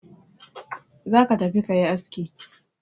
Za ka tafi ka yi aski!